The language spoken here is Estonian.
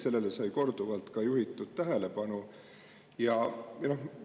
Sellele sai korduvalt tähelepanu juhitud.